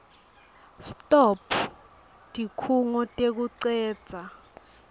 stop tikhungo tekucedza